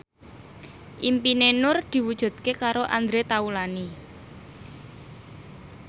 impine Nur diwujudke karo Andre Taulany